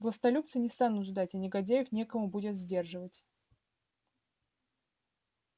властолюбцы не станут ждать а негодяев некому будет сдерживать